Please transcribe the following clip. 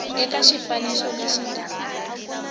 eka xifaniso lexi nga laha